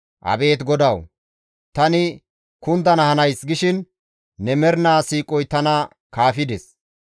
Abeet GODAWU! Tani, «Kundana hanays» gishin ne mernaa siiqoy tana kaafides.